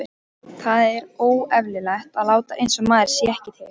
Það er óeðlilegt að láta einsog maður sé ekki til.